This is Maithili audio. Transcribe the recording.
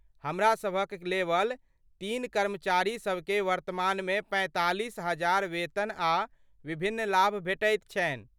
हमरासभक लेवल तीन कर्मचारीसबकेँ वर्तमानमे पैंतालिस हजार वेतन आ विभिन्न लाभ भेटैत छनि।